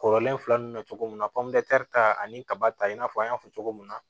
Kɔrɔlen fila nunnu na cogo min na ta ani kaba ta i n'a fɔ an y'a fɔ cogo min na